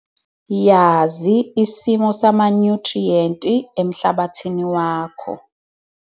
yazi isimo samanyuthriyenti emhlabathini wakho